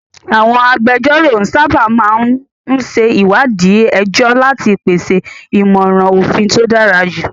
Àwọn agbẹjọ́rò sábà máa ń ṣe ìwádìí ẹjọ́ láti pèsè ìmọ̀ràn òfin tó dára jù.